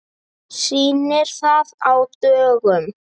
Sýnir það að á dögum